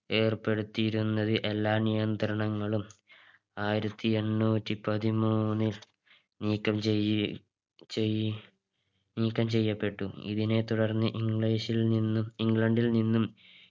ഏർപ്പെടുത്തിയിരുന്നത് എല്ലാ നിയന്ത്രണങ്ങളും ആയിരത്തി എണ്ണൂറ്റി പതിമൂന്നിൽ നീക്കം ചെയ്യി ചെയ്യി നീക്കം ചെയ്യപ്പെട്ടു ഇതിനെ തുടർന്ന് English ൽ നിന്നും ഇംഗ്ലണ്ടിൽ നിന്നും